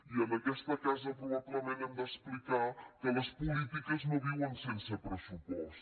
i en aquesta casa probablement hem d’explicar que les polítiques no viuen sense pressupost